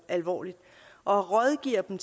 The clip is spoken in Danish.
alvorligt og rådgiver dem